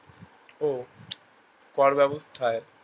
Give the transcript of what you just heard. ও কর ব্যাবস্থায়